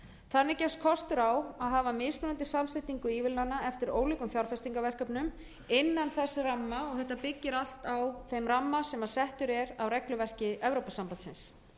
þannig gefst kostur á að hafa mismunandi samsetningu ívilnana eftir ólíkum fjárfestingarverkefnum innan þess ramma og þetta byggir allt á þeim ramma sem settur er á regluverki evrópusambandsins